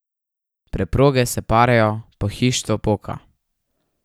Preproge se parajo, pohištvo poka.